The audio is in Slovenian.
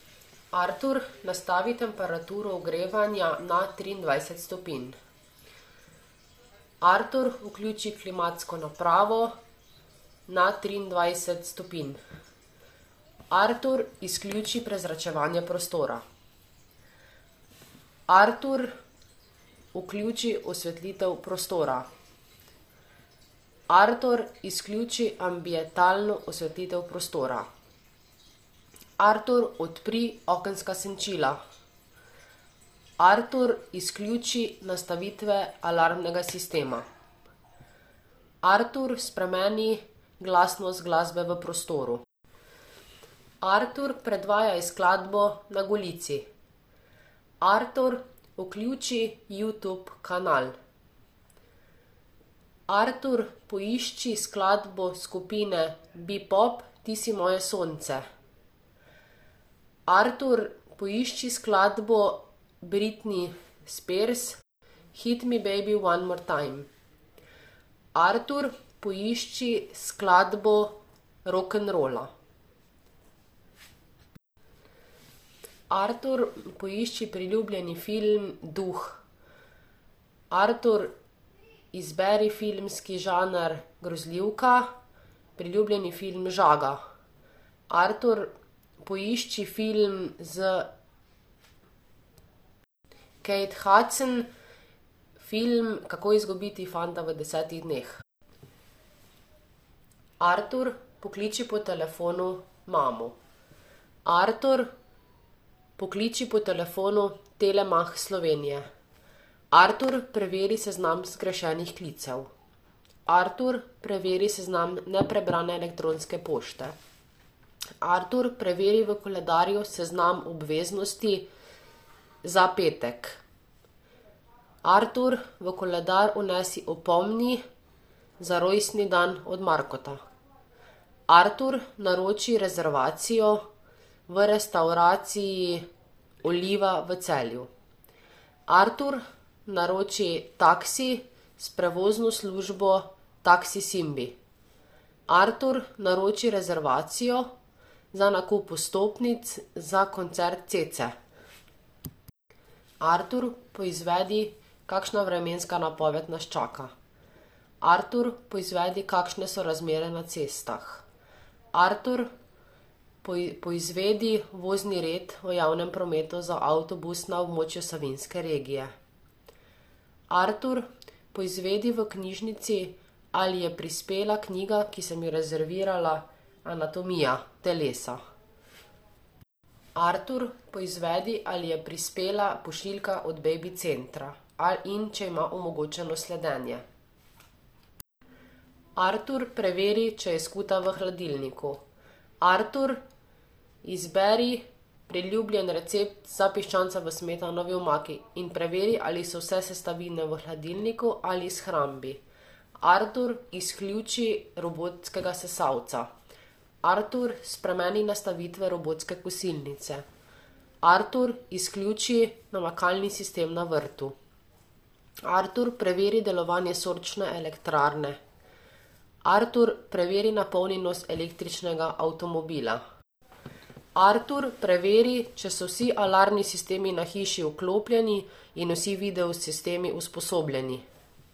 Artur, nastavi temperaturo ogrevanja na triindvajset stopinj. Artur, vključi klimatsko napravo na triindvajset stopinj. Artur, izključi prezračevanje prostora. Artur, vključi osvetlitev prostora. Artur, izključi ambientalno osvetlitev prostora. Artur, odpri okenska senčila. Artur, izključi nastavitve alarmnega sistema. Artur, spremeni glasnost glasbe v prostoru. Artur, predvajaj skladbo Na Golici. Artur, vključi Youtube kanal. Artur, poišči skladbo skupine Bepop Ti si moje sonce. Artur, poišči skladbo Britney Spears, Hit me baby one more time. Artur, poišči skladbo rokenrola. Artur, poišči priljubljeni film Duh. Artur, izberi filmski žanr grozljivka, priljubljeni film Žaga. Artur, poišči film s Kate Hudson, film Kako izgubiti fanta v desetih dneh. Artur, pokliči po telefonu mamo. Artur, pokliči po telefonu Telemach Slovenije. Artur, preveri seznam zgrešenih klicev. Artur, preveri seznam neprebrane elektronske pošte. Artur, preveri v koledarju seznam obveznosti za petek. Artur, v koledar vnesi za rojstni dan od Markota. Artur, naroči rezervacijo v restavraciji Oliva v Celju. Artur, naroči taksi s prevozno službo Taksi Simbi. Artur, naroči rezervacijo za nakup vstopnic za koncert Cece. Artur, poizvedi, kakšna vremenska napoved nas čaka. Artur, poizvedi, kakšne so razmere na cestah. Artur, poizvedi vozni red v javnem prometu za avtobus na območju Savinjske regije. Artur, poizvedi v knjižnici, ali je prispela knjiga, ki sem jo rezervirala, Anatomija telesa. Artur, pozvedi, ali je prispela pošiljka od Babycentra in če ima omogočeno sledenje. Artur, preveri, če je skuta v hladilniku. Artur, izberi priljubljen recept za piščanca v smetanovi omaki in preveri, ali so vse sestavine v hladilniku ali shrambi. Artur, izključi robotskega sesalca. Artur, spremeni nastavitve robotske kosilnice. Artur, izključi namakalni sistem na vrtu. Artur, preveri delovanje sončne elektrarne. Artur, preveri napolnjenost električnega avtomobila. Artur, preveri, če so vsi alarmni sistemi na hiši vklopljeni in vsi video sistemi usposobljeni.